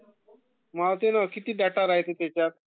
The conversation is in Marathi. मावते ना किती डेटा राहाते ना त्याच्यात